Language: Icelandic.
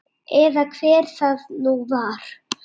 Eða hver það nú var.